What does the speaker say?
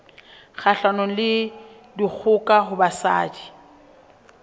kgahlanong le dikgoka ho basadi